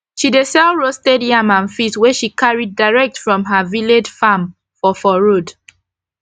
she dey sell roasted yam and fish wey she carry direct from her village farm for for road